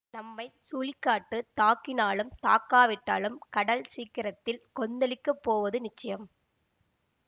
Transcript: நம்மை சுழிக்காற்றுத் தாக்கினாலும் தாக்காவிட்டாலும் கடல் சீக்கிரத்தில் கொந்தளிக்கப் போவது நிச்சயம்